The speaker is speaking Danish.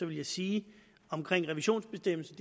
vil jeg sige om revisionsbestemmelsen